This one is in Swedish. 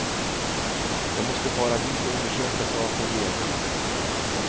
Jag måste fara dit och undersöka saken genast.